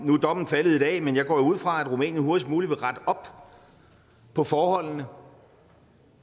nu er dommen faldet i dag men jeg går jo ud fra at rumænien hurtigst muligt vil rette op på forholdene og